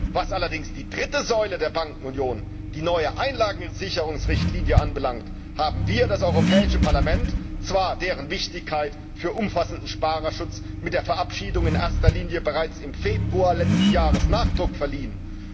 Was allerdings die dritte Säule der Bankenunion, die neue Einlagensicherungsrichtlinie, anbelangt, haben wir, das Europäische Parlament, zwar deren Wichtigkeit für umfassenden Sparerschutz mit der Verabschiedung in erster Lesung bereits im Februar letzten Jahres Nachdruck verliehen.